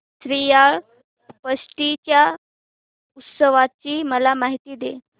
श्रीयाळ षष्टी च्या उत्सवाची मला माहिती दे